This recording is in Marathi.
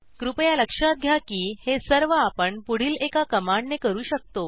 कृपया लक्षात घ्या की हे सर्व आपण पुढील एका कमांडने करू शकतो